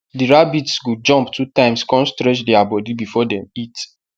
the rabbits go jumpt two times con stretch their body before dem eat